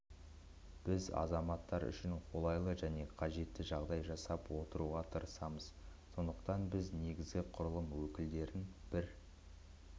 біз азаматтар үшін қолайлы және қажетті жағдай жасауға тырысамыз сондықтан біз негізгі құрылым өкілдерін бір